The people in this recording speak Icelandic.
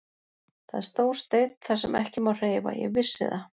Það er stór steinn þar sem ekki má hreyfa, ég vissi það.